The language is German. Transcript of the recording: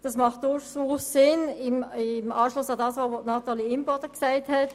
Das ist durchaus sinnvoll, auch unter Berücksichtigung dessen, was Natalie Imboden erläutert hat.